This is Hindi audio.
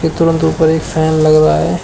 ये तुरंत ऊपर एक फैन लग रहा है।